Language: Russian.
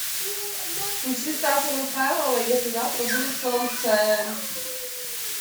включи стаса михайлова если завтра будет солнце